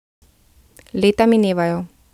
Leta minevajo.